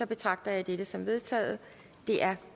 betragter jeg dette som vedtaget det er